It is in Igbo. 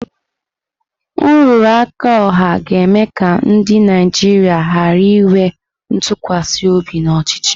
Nrụrụ aka ọha ga-eme ka ndị Naijiria ghara inwe ntụkwasị obi n'ọchịchị.